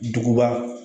Duguba